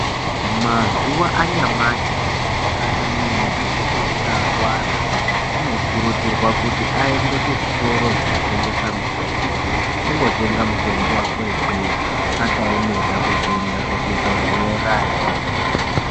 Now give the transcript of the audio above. Mazuwa anyamashi kana muntu einga arwara unokurudzirwa kuti aende kuzvitoro zvinotengesa mitombo angotenga mutombo wakwe ikweyo akaemera kuzoenda kuzvibhehlerayo